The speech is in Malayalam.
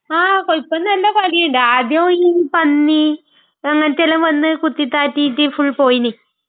ആ..കൊയ്പ്പ..ഇപ്പൊ നല്ല കുലയുണ്ട്..ആദ്യം ഈ പന്നി..അങ്ങനത്തെയെല്ലാം വന്ന് കുത്തിത്താഴ്ത്തിട്ട് ഫുൾ പോയിന്..